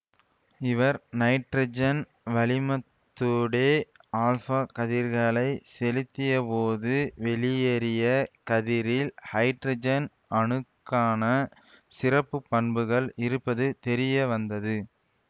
இவர் நைட்ரஜன் வளிமத்தூடே ஆல்ஃவா கதிர்களைச் செலுத்தியபோது வெளியேறிய கதிரில் ஹைட்ரஜன் அணுக்கான சிறப்பு பண்புகள் இருப்பது தெரியவந்தது